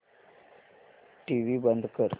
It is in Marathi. टीव्ही बंद कर